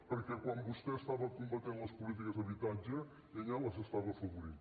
perquè quan vostè estava combatent les polítiques d’habitatge ella les estava afavorint